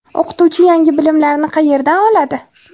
O‘qituvchi yangi bilimlarni qayerdan oladi?